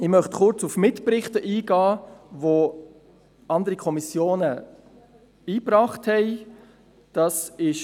Ich möchte kurz auf die Mitberichte eingehen, die andere Kommissionen eingebracht haben.